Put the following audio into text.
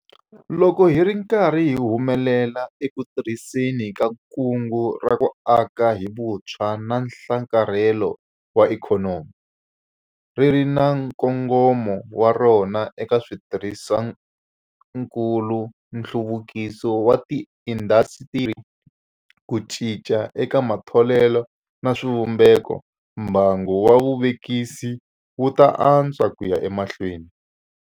Loko hi ri karhi hi humelela eku tirhiseni ka Kungu ra ku Aka hi Vutshwa na Nhlakarhelo wa Ikhonomi - ri ri na nkongomo wa rona eka switirhisiwakulu, nhluvukiso wa tiindasitiri, ku cinca eka matholelo na swivumbeko - mbangu wa vuvekisi wu ta antswa ku ya emahlweni.